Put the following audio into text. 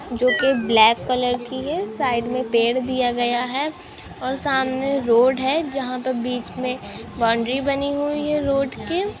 जो कि black colour कि हैं साइड मे पेड दिया गया हैं और सामने रोड हैं जहाँ पे बीच मे बाउंड्री बनी हुई हैं रोड के।